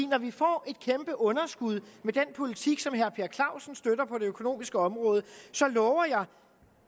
når vi får et kæmpe underskud med den politik som herre per clausen støtter på det økonomiske område så lover jeg at